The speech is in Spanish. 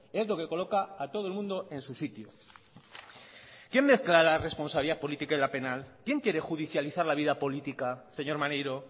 es lo que coloca a todo el mundo en su sitio quién mezcla la responsabilidad política y la penal quién quiere judicializar la vida política señor maneiro